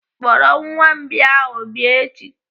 Kpọrọ nwa mbìa ahụ bịa echi!